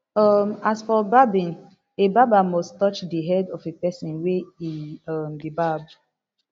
um as for barbing a barber must touch di head of a pesin wey e um dey barb